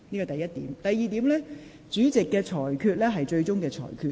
第二，主席所作的裁決為最終決定。